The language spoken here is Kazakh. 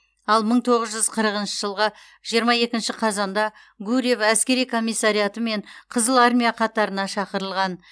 ал мың тоғыз жүз қырықыншы жылғы жиырма екінші қазанда гурьев әскери комиссариатымен қызыл армия қатарына шақырылған